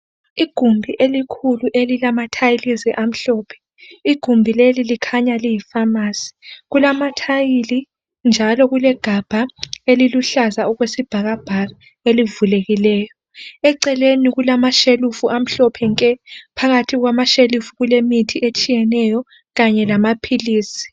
Igumbi elikhulu elilama tiles amhlophe, igumbi leli likhanya liyi pharmacy kulama tile njalo kulegabha eliluhlaza okwesibhakabhaka elivulekileyo eceleni kulamashelufu amhlophe nke phakathi kwamashelufu kulemithi etshiyeneyo kanye lamaphilisi.